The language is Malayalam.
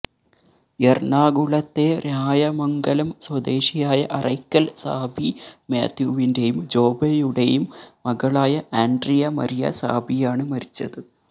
എറണാകുളത്തെ രായമംഗലം സ്വദേശിയായ അറയ്ക്കല് സാബി മാത്യുവിന്റേയും ജോബയുടേയും മകളായ ആന്ഡ്രിയ മരിയ സാബിയാണ് മരിച്ചത്